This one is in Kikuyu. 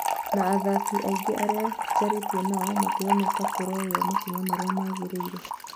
Na athaki aingĩ arĩa njarĩtie nao matirona ta kũroywo makinya marĩa magĩrĩire